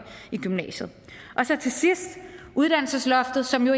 i gymnasiet og så til sidst uddannelsesloftet som jo